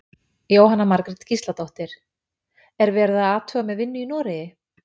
Jóhanna Margrét Gísladóttir: Er verið að athuga með vinnu í Noregi?